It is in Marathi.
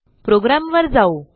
प्रोग्रॅमवर जाऊ